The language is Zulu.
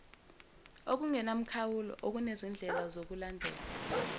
okungenamkhawulo okunezindlela zokulandela